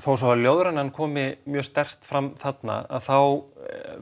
þó að ljóðrænan komi mjög sterkt fram þarna þá